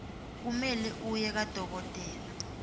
kumele uye kadokotela